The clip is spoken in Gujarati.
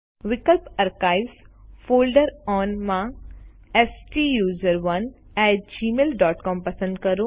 વિકલ્પ આર્કાઇવ્સ ફોલ્ડર ઓન માં સ્ટુસરોને એટી gmailસીઓએમ પસંદ કરો